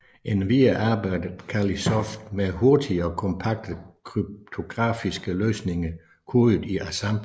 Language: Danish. Endvidere arbejdede Callisoft med hurtige og kompakte kryptografiske løsninger kodet i assembler